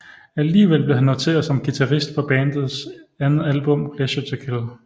Alligevel blev han noteret som guitarist på bandets andet album Pleasure to Kill